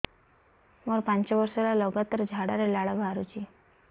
ମୋରୋ ପାଞ୍ଚ ବର୍ଷ ହେଲା ଲଗାତାର ଝାଡ଼ାରେ ଲାଳ ବାହାରୁଚି